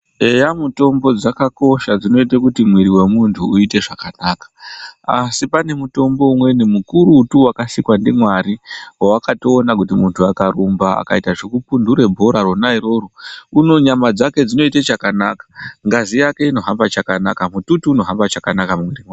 Eya mitombo dzakakosha dzinoita kuti muiri wemuntu uite zvakanaka ASI pane mutombo umweni mukurutu wakasikwa ndiMwari wakatoona kuti muntu akarumba akaita zvekudhuvhure bhora Rona iroro nyama dzake dzinoita zvakanaka ngazi yake inohamba chakanaka mututu unohamba chakanaka mumirimo.